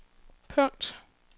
punkt